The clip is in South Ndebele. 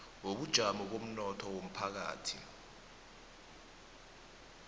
wobujamo bomnotho womphakathi